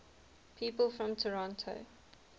people from toronto